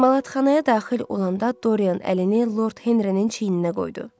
Emalatxanaya daxil olanda Doryan əlini Lord Henrinin çiyninə qoydu.